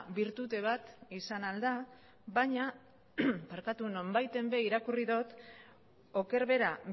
bertute bat izan ahal da baina nonbaiten irakurri dot oker bera